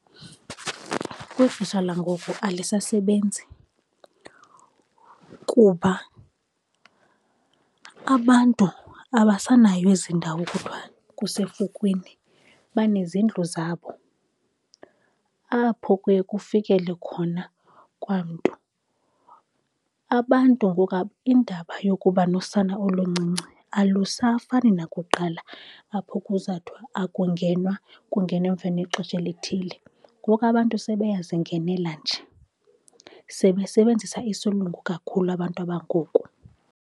Kwixesha langoku alisasebenzi kuba abantu abasanayo ezi ndawo kuthiwa kusefukwini. Banezindlu zabo apho kuye kufikele khona kwamntu. Abantu ngoku, indaba yokuba nosana oluncinci alusafani nakuqala apho kuzathwa akungenwa, kungenwa emveni kwexesha elithile. Ngoku abantu sebeyazingenela nje, sebesebenzisa isilungu kakhulu abantu abangoku.